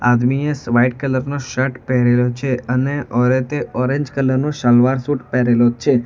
આદમીએ સ white colour નો shirt પહેરેલો છે અને ઓરતે ઓરેન્જ કલર નો સલવાર સુટ પહેરેલો છે.